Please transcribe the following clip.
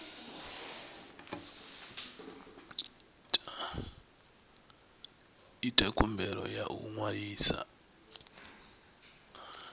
ita khumbelo ya u ṅwalisa